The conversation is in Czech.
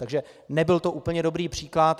Takže nebyl to úplně dobrý příklad.